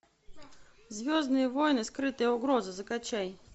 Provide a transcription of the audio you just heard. звездные войны скрытая угроза закачай